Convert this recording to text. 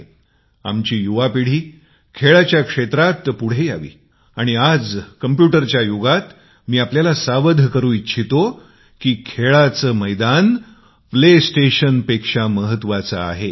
आमची युवा पिढी खेळाच्या क्षेत्रात पुढे यावी आज संगणकाच्या युगात मी आपल्याला खेळ स्थानकांपेक्षा क्रीडा क्षेत्र महत्वाचे आहे हे सांगु इच्छितो